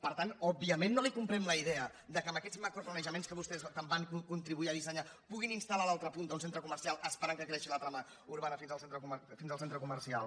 per tant òbviament no li comprem la idea que amb aquests macroplanejaments que vostès tant van contri·buir a dissenyar puguin instal·tre comercial esperant que creixi la trama urbana fins al centre comercial